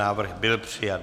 Návrh byl přijat.